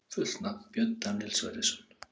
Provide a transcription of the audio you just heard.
Fullt nafn: Björn Daníel Sverrisson